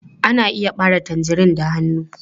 Ana iya ɓare tangerine da hannu.